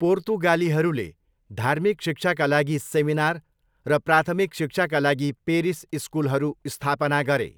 पोर्तुगालीहरूले धार्मिक शिक्षाका लागि सेमिनार र प्राथमिक शिक्षाका लागि पेरिस स्कुलहरू स्थापना गरे।